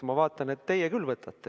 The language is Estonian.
Aga ma vaatan, et teie küll võtate.